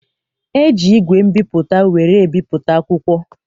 E ji igwe mbipụta were ebipụta akwụkwọ.